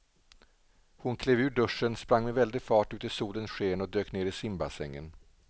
Hon klev ur duschen, sprang med väldig fart ut i solens sken och dök ner i simbassängen.